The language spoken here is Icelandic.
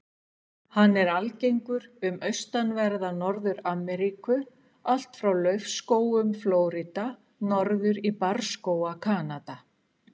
Hann er algengur um austanverða Norður-Ameríku, allt frá laufskógum Flórída norður í barrskóga Kanada.